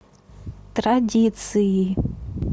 традиции